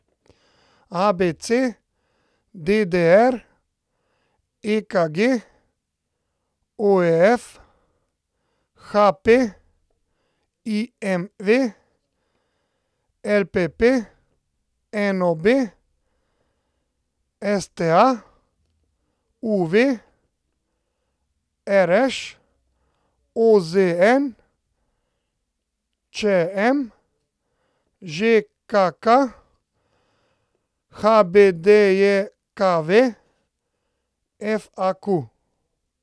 ABC, DDR, EKG, OF, HP, IMV, LPP, NOB, STA, UV, RŠ, OZN, ČM, ŽKK, HBDJKV, FAQ.